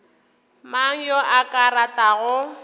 mang yo a ka ratago